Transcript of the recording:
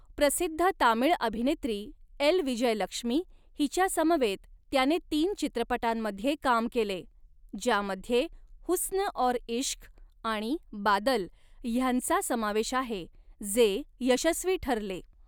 प्रसिद्ध तामिळ अभिनेत्री एल. विजयलक्ष्मी हिच्यासमवेत त्याने तीन चित्रपटांमध्ये काम केले, ज्यामध्ये 'हुस्न और इश्क' आणि 'बादल' ह्यांचा समावेश आहे, जे यशस्वी ठरले.